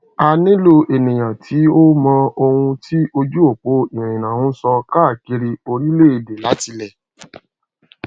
a nilo eniyan ti o mọ ohun ti ojuopo irinna n sọ kaakiri orilẹede latilẹ